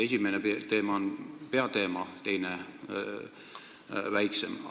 Esimene on eelnõu peateema, teine on väiksem teema.